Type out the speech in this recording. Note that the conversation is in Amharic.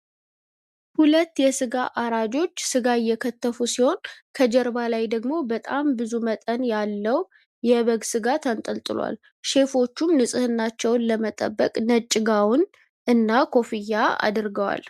2 የስጋ አራጆች ስጋ እየከተፉ ሲሆን ከጀርባ ላይ ደሞ በጣም ብዙ መጠን ያለው የበግ ስጋ ተንጠልጥሏል። ሼፎቹም ንፅህናቸውን ለመጠበቅ ነጭ ጋዋን እና ኩፍያ አድርገዋል።